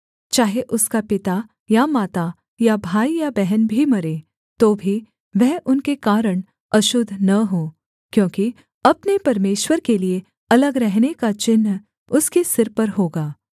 चाहे उसका पिता या माता या भाई या बहन भी मरे तो भी वह उनके कारण अशुद्ध न हो क्योंकि अपने परमेश्वर के लिये अलग रहने का चिन्ह उसके सिर पर होगा